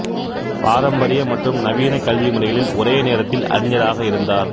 பாரம்பரிய மற்றும் நவீன கல்வி முறைகளில் ஒரே நேரத்தில் அறிஞராக இருந்தார்